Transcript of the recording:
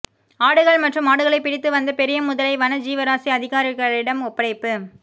ஆடுகள் மற்றும் மாடுகளை பிடித்து வந்த பெரிய முதலை வன ஜீவராசி அதிகாரிகளிடம் ஒப்படைப்பு